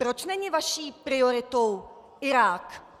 Proč není vaší prioritou Irák?